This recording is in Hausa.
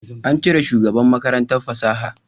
An cire shugaban Makarantar fasaha